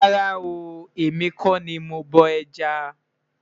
rárá o, èmi kò ní mọ bó ẹja